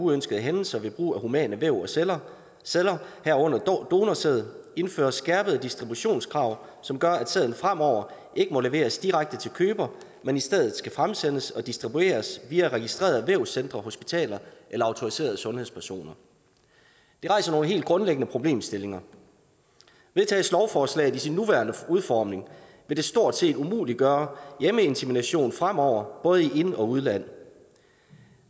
uønskede hændelser ved brug af humane væv og celler celler herunder donorsæd indføres skærpede distributionskrav som gør at sæden fremover ikke må leveres direkte til køber men i stedet skal fremsendes og distribueres via registrerede vævscentre hospitaler eller autoriserede sundhedspersoner det rejser nogle helt grundlæggende problemstillinger vedtages lovforslaget i sin nuværende udformning vil det stort set umuliggøre hjemmeinsemination fremover både i ind og udland